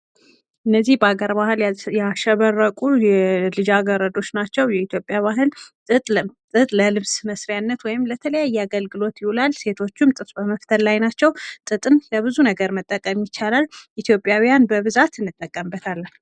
እነዚህ በሃገር ባህል ያሸበረቁ ልጃገረዶች ናቸው ። በኢትዮጵያ ባህል ጥጥ ለልብስ መስሪያነት ወይም ለሌላ ብዙ አገልግሎት ይውላል ልጃገረዶቹም ጥጥ በመፍተል ላይ ናቸው ። ጥጥን ለብዙ ነገር መጠቀም ይቻላል ። ኢትዮጵያን በብዛት እንጠቀምበታለን።